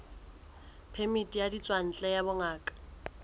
phemiti ya ditswantle ya bongaka